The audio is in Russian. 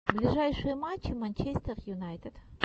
ближайшие матчи манчестер юнайтед